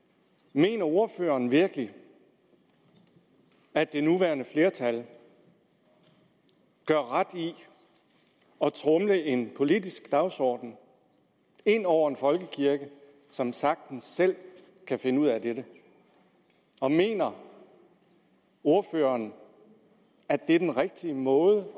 mener ordføreren virkelig at det nuværende flertal gør ret i at tromle en politisk dagsorden ind over en folkekirke som sagtens selv kan finde ud af dette og mener ordføreren at det er den rigtige måde